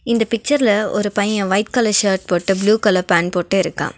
இந்த பிச்சர்ல ஒரு பைய ஒயிட் கலர் ஷர்ட் போட்டு ப்ளூ கலர் பேண்ட் போட்டு இருக்கா.